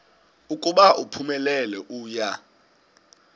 ukuba uphumelele uya